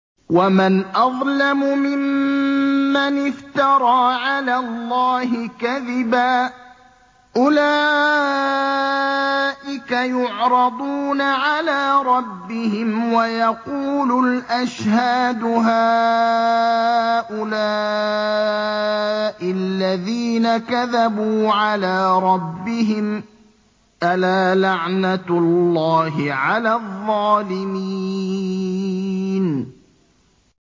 وَمَنْ أَظْلَمُ مِمَّنِ افْتَرَىٰ عَلَى اللَّهِ كَذِبًا ۚ أُولَٰئِكَ يُعْرَضُونَ عَلَىٰ رَبِّهِمْ وَيَقُولُ الْأَشْهَادُ هَٰؤُلَاءِ الَّذِينَ كَذَبُوا عَلَىٰ رَبِّهِمْ ۚ أَلَا لَعْنَةُ اللَّهِ عَلَى الظَّالِمِينَ